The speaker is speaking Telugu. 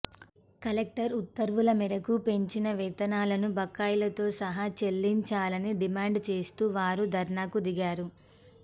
కలెక్టర్ ఉత్తర్వుల మేరకు పెంచిన వేతనాలను బకాయిలతో సహా చెల్లించాలని డిమాండ్ చేస్తూ వారు ధర్నాకు దిగారు